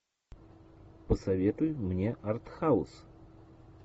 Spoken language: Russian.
посоветуй мне артхаус